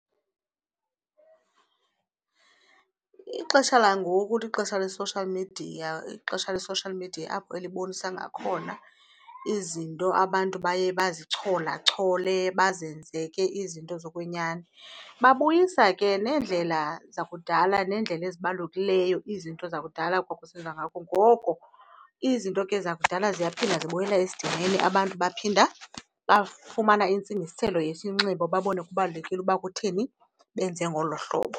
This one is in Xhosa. Ixesha langoku ixesha le-social media, ixesha le-social media apho elibonisa ngakhona izinto abantu baye bazicholachole bazenze ke izinto zokwenyani. Babuyisa ke neendlela zakudala neendlela ezibalulekileyo, izinto zakudala ekwakusenziwa ngoko. Izinto ke zakudala ziyaphinda zibuyela esidimeni abantu baphinda bafumana intsingiselo yesinxibo babona kubalulekile ukuba kutheni, benze ngolo hlobo.